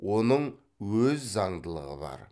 оның өз заңдылығы бар